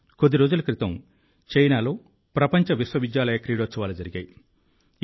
కొద్ది రోజుల క్రితం చైనాలో ప్రపంచ విశ్వవిద్యాలయ క్రీడోత్సవాలు జరిగాయి